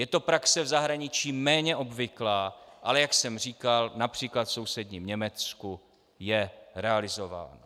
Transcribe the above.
Je to praxe v zahraničí méně obvyklá, ale jak jsem říkal, například v sousedním Německu je realizována.